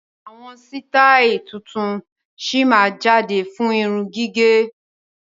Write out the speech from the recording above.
Àwọn sitai tuntun sí máa jáde fún irun gígẹ̀.